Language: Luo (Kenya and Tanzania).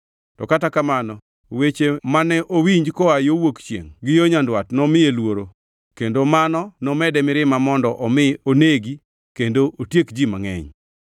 Kata kamano, weche mane owinji koa yo Wuok chiengʼ gi yo Nyandwat nomiye luoro, kendo mano nomede mirima mondo omi onegi kendo otieki ji mangʼeny.